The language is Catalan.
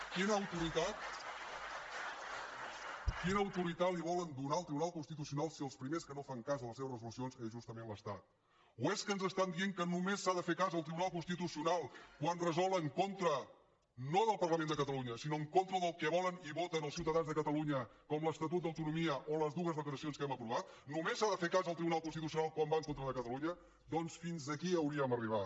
quina autoritat li volen donar al tribunal constitucional si els primers que no fan cas de les seves resolucions és justament l’estat o és que ens estan dient que només s’ha de fer cas del tribunal constitucional quan resolen contra no del parlament de catalunya sinó en contra del que volen i voten els ciutadans de catalunya com l’estatut d’autonomia o les dues declaracions que hem aprovat només s’ha de fer cas del tribunal constitucional quan va en contra de catalunya doncs fins aquí hauríem arribat